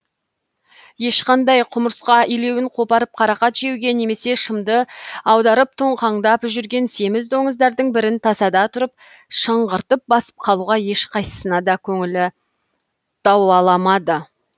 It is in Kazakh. ешқандай құмырсқа илеуін қопарып қарақат жеуге немесе шымды аударып тоңқаңдап жүрген семіз доңыздардың бірін тасада тұрып шыңғыртып басып қалуға ешқайсысына да көңілі дауаламады